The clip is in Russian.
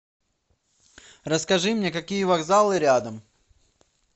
расскажи мне какие вокзалы рядом